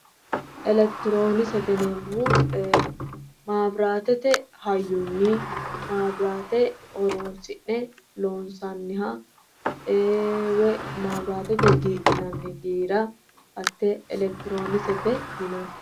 Elekitironkisete yineemmohu mabiratete hayyonni mabirate horonsi'ne loonsanniha woyi mabiratete gidhinanni giira hatte elekitironkisete yinnanni.